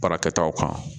Baarakɛtaw kan